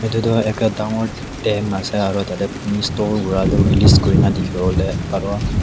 etu tu ekat dangor tank ase aru tah teh pani store kura tu released kurina dikhi bole paribo.